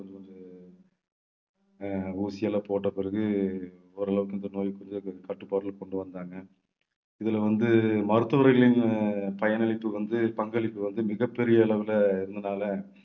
அஹ் ஊசி எல்லாம் போட்டபிறகு ஓரளவுக்கு இந்த நோய் கொஞ்சம் கட்டுப்பாட்டுல கொண்டு வந்தாங்க இதுல வந்து மருத்துவர்களின் பயனளிப்பு வந்து பங்களிப்பு வந்து மிகப்பெரிய அளவுல இருந்ததுனால